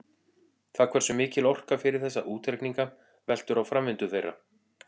Það hversu mikil orka fer í þessa útreikninga veltur á framvindu þeirra.